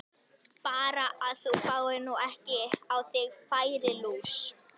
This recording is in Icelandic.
Bara að þú fáir nú ekki á þig færilús!